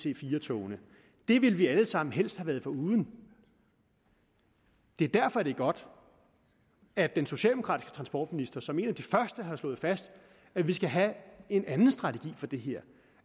ic4 togene det ville vi alle sammen helst have været foruden det er derfor det er godt at den socialdemokratiske transportminister som en af de første har slået fast at vi skal have en anden strategi for det her